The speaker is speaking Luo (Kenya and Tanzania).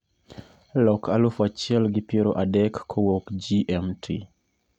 Lok aluf achiel gi piero adek kowuok g.m.t